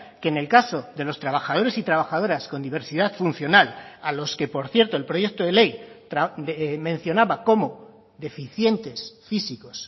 que en el caso de los trabajadores y trabajadoras con diversidad funcional a los que por cierto el proyecto de ley mencionaba como deficientes físicos